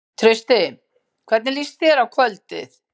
Trausti, hvernig líst þér á kvöldið?